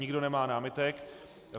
Nikdo nemá námitek.